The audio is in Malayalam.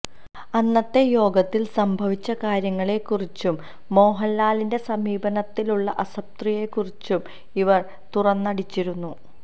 അന്നത്തെ യോഗത്തില് സംഭവിച്ച കാര്യങ്ങളെക്കുറിച്ചും മോഹന്ലാലിന്റെ സമീപനത്തിലുള്ള അതൃപ്തിയെക്കുറിച്ചും ഇവര് തുറന്നടിച്ചിരുന്നു